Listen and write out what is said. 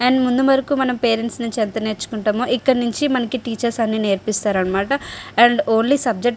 దానిముందు వరకు మనం పేరెంట్స్ నుంచి ఎంత నేర్చుకుంటామో ఇక్కడ నుంచి మనకి టీచర్స్ అన్నీ నేర్పిస్తారన్నమాట అండ్ ఓన్లీ సబ్జెక్టు --